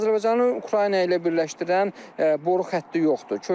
Azərbaycanı Ukrayna ilə birləşdirən boru xətti yoxdur.